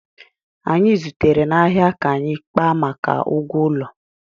Anyị zutere n'ahịa ka anyị kpaa maka ụgwọ ụlọ